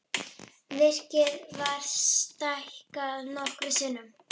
Virkið var stækkað nokkrum sinnum.